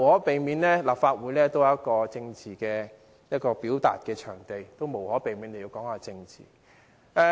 但是，立法會始終是一個政治表達場地，議員無可避免地要談到政治。